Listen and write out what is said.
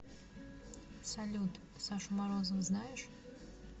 салют сашу морозова знаешь